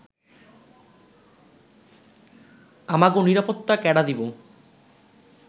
আমাগো নিরাপত্তা কেডা দিবো